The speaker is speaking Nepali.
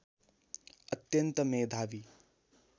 अत्यन्त मेधावी